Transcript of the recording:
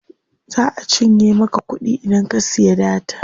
Za a cinye maka kuɗi idan ka siya data.